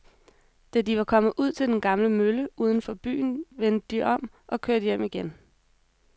Da de var kommet ud til den gamle mølle uden for byen, vendte de om og kørte hjem igen.